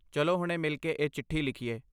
ਚਲੋ ਹੁਣੇ ਮਿਲ ਕੇ ਇਹ ਚਿੱਠੀ ਲਿਖੀਏ।